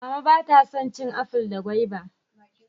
Mama ba ta san cin aful da gwaiba